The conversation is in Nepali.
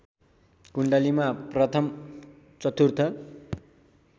कुण्डलीमा प्रथम चतुर्थ